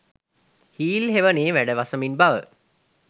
heel හෙවනේ වැඩ වසමින් බව